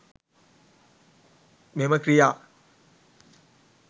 මෙම ක්‍රියා